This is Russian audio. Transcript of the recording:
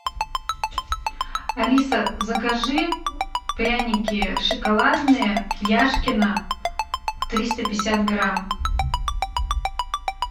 алиса закажи пряники шоколадные яшкино триста пятьдесят грамм